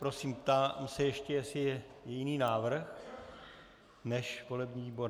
Prosím, ptám se ještě, jestli je jiný návrh než volební výbor.